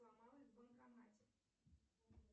сломалась в банкомате